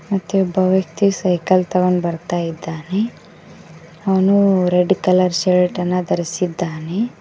ಮತ್ತೆ ಒಬ್ಬ ವ್ಯಕ್ತಿ ಸೈಕಲ್ ತಗೊಂಡು ಬರ್ತಾ ಇದ್ದಾನೆ ಅವನು ರೆಡ್ ಕಲರ್ ಶರ್ಟ್ ಅನ್ನ ಧರಿಸಿದ್ದಾನೆ.